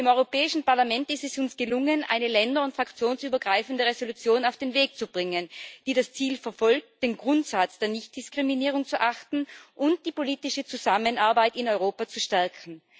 Im Europäischen Parlament ist es uns gelungen, eine länder und fraktionsübergreifende Entschließung auf den Weg zu bringen, die das Ziel verfolgt, den Grundsatz der Nichtdiskriminierung zu achten und die politische Zusammenarbeit in Europa zu stärken.